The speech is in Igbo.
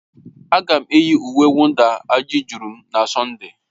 Ága m eyi uwe mwụda ajịaturu m na Sọnde